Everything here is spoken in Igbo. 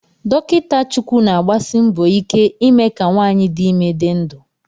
Dokita Chukwu na-agbasi mbọ ike ime ka nwanyị dị ime dị ndụ